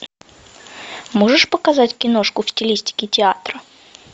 можешь показать киношку в стилистике театра